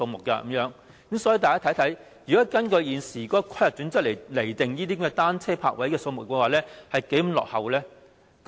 大家看看，如果根據現時的規劃準則來釐定單車泊位的數目，是多麼的落後。